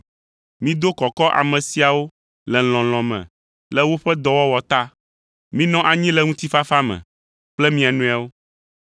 Mido kɔkɔ ame siawo le lɔlɔ̃ me le woƒe dɔwɔwɔ ta. Minɔ anyi le ŋutifafa me kple mia nɔewo.